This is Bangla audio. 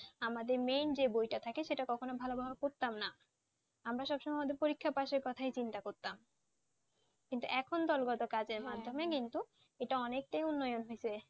আমাদের Main যে বইটা থাকে সেটা কখনো ভালোভাবে পড়তাম না আমরা সবসময় আমাদের পরীক্ষার পাশের কথাই চিন্তা করতাম কিন্তু এখন দলগত কিন্তু সেটা অনেকটাই উন্নয়ন হয়েছে